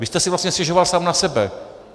Vy jste si vlastně stěžoval sám na sebe.